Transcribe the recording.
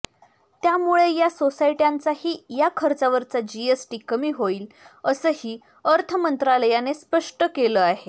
त्यामुळे या सोसायट्यांचाही या खर्चावरचा जीएसटी कमी होईल असंही अर्थमंत्रालयाने स्पष्ट केलं आहे